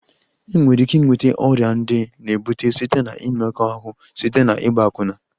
Enwere ike ịnweta ọrịa ndị na-ebute site na mmekọahụ site na ịgba akwụna